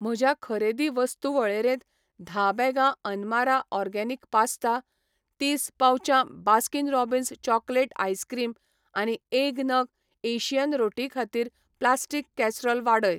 म्हज्या खरेदी वस्तू वळेरेंत धा बॅगां अनमारा ऑर्गेनिक पास्ता, तीस पाउचां बास्किन रॉबिन्स चॉकलेट आइसक्रीम आनी एक नग एशियन रोटी खातीर प्लास्टीक कॅसरोल वाडय.